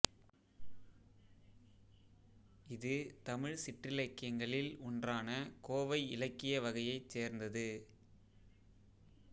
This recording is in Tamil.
இது தமிழ் சிற்றிலக்கியங்களில் ஒன்றான கோவை இலக்கிய வகையைச் சேர்ந்தது